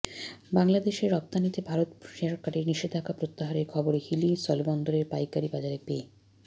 বাংলাদেশে রপ্তানিতে ভারত সরকারের নিষেধাজ্ঞা প্রত্যাহারের খবরে হিলি স্থলবন্দরের পাইকারি বাজারে পেঁ